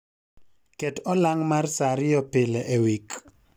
ket olang' mar saa ariyo pile e wik